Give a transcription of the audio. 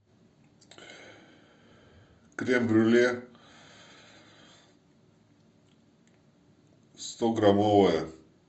крем брюле стограммовое